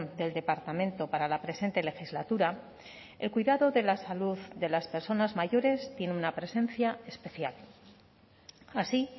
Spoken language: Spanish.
del departamento para la presente legislatura el cuidado de la salud de las personas mayores tiene una presencia especial así